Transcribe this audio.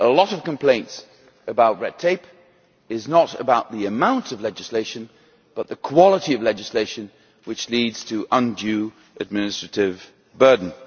A lot of complaints about red tape are not about the amount of legislation but rather about the quality of legislation which leads to undue administrative burdens.